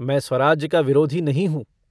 मैं स्वराज्य का विरोधी नहीं हूँ।